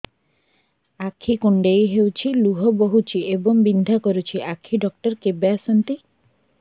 ଆଖି କୁଣ୍ଡେଇ ହେଉଛି ଲୁହ ବହୁଛି ଏବଂ ବିନ୍ଧା କରୁଛି ଆଖି ଡକ୍ଟର କେବେ ଆସନ୍ତି